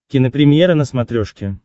кинопремьера на смотрешке